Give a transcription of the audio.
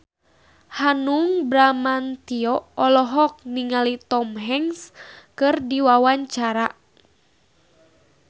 Hanung Bramantyo olohok ningali Tom Hanks keur diwawancara